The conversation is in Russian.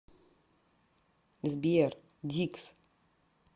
сбер дикс